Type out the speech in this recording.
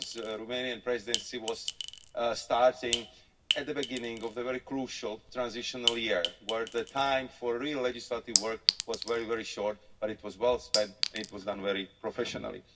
The Romanian Presidency was starting at the beginning of the very crucial transitional year, where the time for real legislative work was very, very short, but it was well spent, it was done very professionally.